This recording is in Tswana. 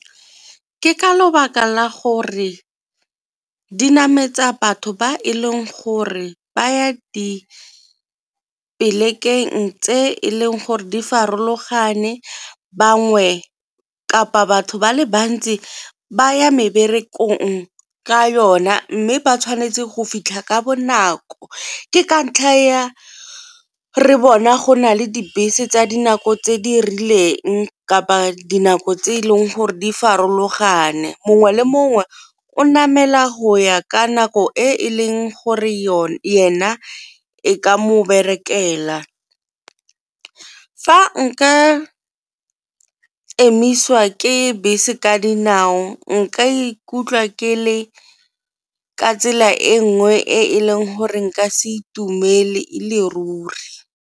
Ke ka lebaka la gore di nametsa batho ba e leng gore ba ya tse e leng gore di farologane. Bangwe kapa batho ba le bantsi ba ya meberekong ka yona mme ba tshwanetse go fitlha ka bonako ke ka ntlha ya re bona go na le dibese tsa dinako tse di rileng kapa dinako tse e leng gore di farologane. Mongwe le mongwe o namela go ya ka nako e e leng gore ena e ka mo berekela. Fa nka emisiwa ke bese ka dinao nka ikutlwa ke le ka tsela e nngwe e e leng gore nka se itumele e le ruri.